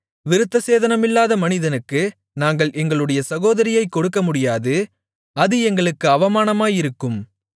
விருத்தசேதனமில்லாத மனிதனுக்கு நாங்கள் எங்களுடைய சகோதரியைக் கொடுக்கமுடியாது அது எங்களுக்கு அவமானமாயிருக்கும்